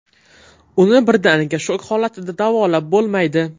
Uni birdaniga shok holatida davolab bo‘lmaydi.